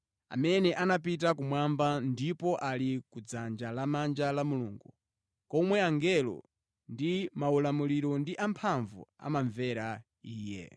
amene anapita kumwamba ndipo ali kudzanja lamanja la Mulungu komwe angelo ndi maulamuliro ndi amphamvu amamvera Iye.